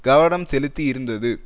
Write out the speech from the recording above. கவனம் செலுத்தி இருந்தது